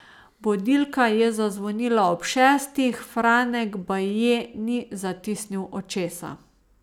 Budilka je zazvonila ob šestih, Franek baje ni zatisnil očesa.